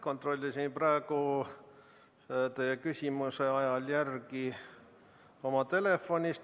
Kontrollisin praegu teie küsimuse ajal oma telefonist järele.